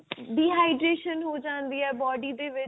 dehydration ਹੋ ਜਾਂਦੀ ਹੈ body ਦੇ ਵਿੱਚ